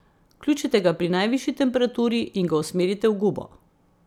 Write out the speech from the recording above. Vključite ga pri najvišji temperaturi in ga usmerite v gubo.